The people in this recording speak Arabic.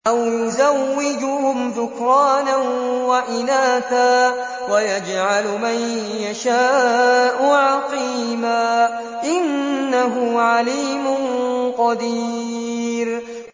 أَوْ يُزَوِّجُهُمْ ذُكْرَانًا وَإِنَاثًا ۖ وَيَجْعَلُ مَن يَشَاءُ عَقِيمًا ۚ إِنَّهُ عَلِيمٌ قَدِيرٌ